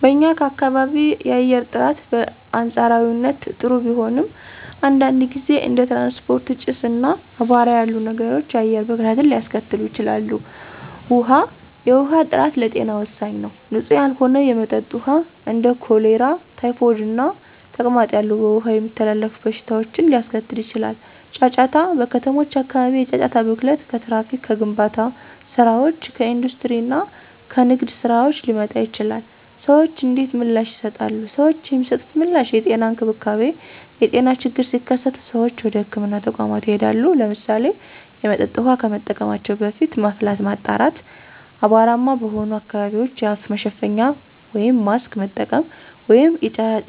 *በኛ ካባቢ የአየር ጥራት: በአንፃራዊነት ጥሩ ቢሆንም፣ አንዳንድ ጊዜ እንደ ትራንስፖርት ጭስ፣ እና አቧራ ያሉ ነገሮች የአየር ብክለትን ሊያስከትሉ ይችላሉ። ውሀ፦ የውሃ ጥራት ለጤና ወሳኝ ነው። ንፁህ ያልሆነ የመጠጥ ውሃ እንደ ኮሌራ፣ ታይፎይድ እና ተቅማጥ ያሉ በውሃ የሚተላለፉ በሽታዎችን ሊያስከትል ይችላል። * ጫጫታ: በከተሞች አካባቢ የጫጫታ ብክለት ከትራፊክ፣ ከግንባታ ስራዎች፣ ከኢንዱስትሪ እና ከንግድ ስራዎች ሊመጣ ይችላል። ሰዎች እንዴት ምላሽ ይሰጣሉ? ሰዎች የሚሰጡት ምላሽ * የጤና እንክብካቤ : የጤና ችግሮች ሲከሰቱ ሰዎች ወደ ህክምና ተቋማት ይሄዳሉ። *ለምሳሌ፣ የመጠጥ ውሃ ከመጠቀማቸው በፊት ማፍላት፣ ማጣራት፣ አቧራማ በሆኑ አካባቢዎች የአፍ መሸፈኛ (ማስክ) መጠቀም፣ ወይም